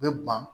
U bɛ ban